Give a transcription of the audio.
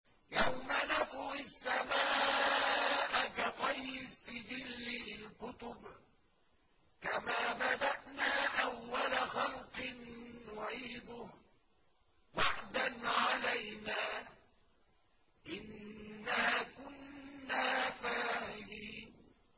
يَوْمَ نَطْوِي السَّمَاءَ كَطَيِّ السِّجِلِّ لِلْكُتُبِ ۚ كَمَا بَدَأْنَا أَوَّلَ خَلْقٍ نُّعِيدُهُ ۚ وَعْدًا عَلَيْنَا ۚ إِنَّا كُنَّا فَاعِلِينَ